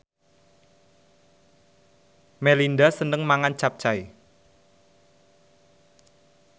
Melinda seneng mangan capcay